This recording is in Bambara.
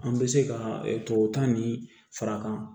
An bɛ se ka tubabu ta ni farankan